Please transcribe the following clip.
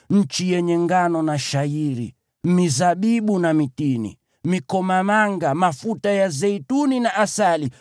nchi yenye ngano na shayiri, mizabibu na mitini, mikomamanga, mafuta ya zeituni na asali;